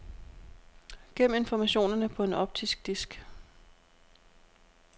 Gem informationerne på en optisk disk.